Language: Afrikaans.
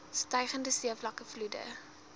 stygende seevlakke vloede